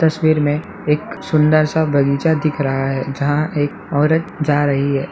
तस्वीर में एक सुंदर सा बगीचा दिख रहा है जहाँ एक औरत जा रही है।